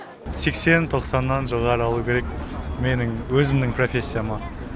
сексен тоқсаннан жоғары алу керек менің өзімнің профессияма